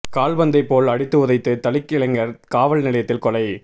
கால்பந்தை போல் அடித்து உதைத்து தலித் இளைஞர் காவல்நிலையத்தில் கொலை